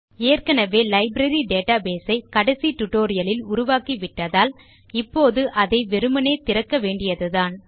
ஏற்கெனெவே library database ஐ கடைசி டியூட்டோரியல் லில் உருவாக்கிவிட்டதால் இப்போது அதை வெறுமனே திறக்க வேண்டியதுதான்